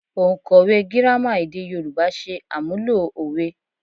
Òǹkọ̀wẹ́ Gírámà èdè Yorùbá ṣe àmúlò òwe